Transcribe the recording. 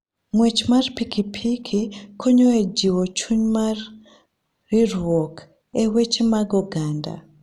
Ng'wech mar pikipiki konyo e jiwo chuny mar riwruok e weche mag oganda.